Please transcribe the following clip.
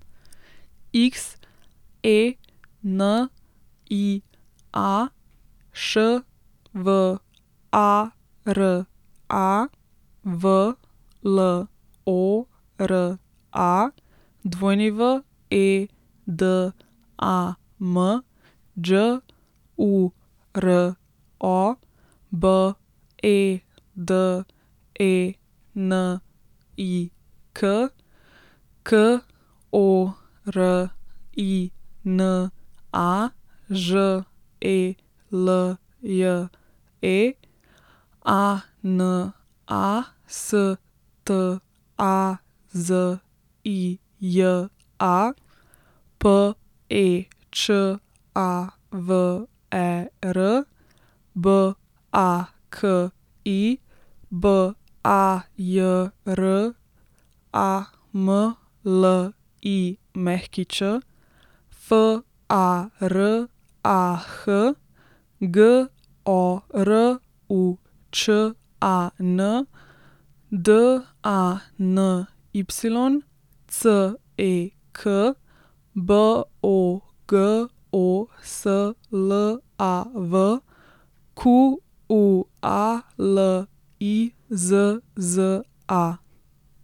Xenia Švara, Vlora Wedam, Đuro Bedenik, Korina Želje, Anastazija Pečaver, Baki Bajramlić, Farah Goručan, Dany Cek, Bogoslav Qualizza.